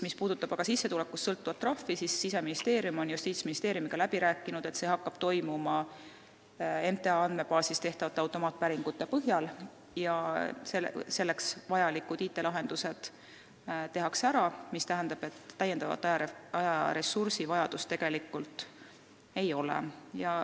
Mis puudutab aga sissetulekust sõltuvat trahvi, siis Siseministeerium on Justiitsministeeriumiga läbi rääkinud, et see hakkab toimuma MTA andmebaasis tehtavate automaatpäringute põhjal ja vajalikud IT-lahendused tehakse ära, mis tähendab, et täiendava ajaressursi vajadust tegelikult ei ole.